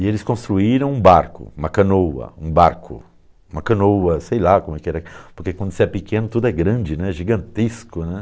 E eles construíram um barco, uma canoa, um barco, uma canoa, sei lá como era, porque quando você é pequeno tudo é grande né, gigantesco, né.